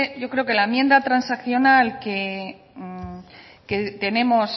yo creo que la enmienda transaccional que tenemos